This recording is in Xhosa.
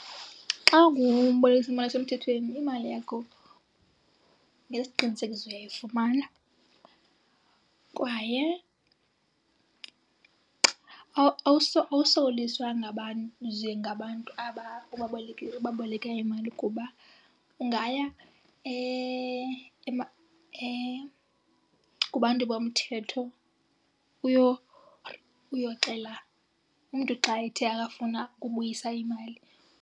Xa ungumbolekisimali osemthethweni imali yakho ngesiqinisekiso uyayifumana kwaye awusokoliswa ngabantu ze ngabantu ubaboleka imali, kuba ungaya kubantu bomthetho uyoxela umntu xa ethe akafuna ubuyisa imali.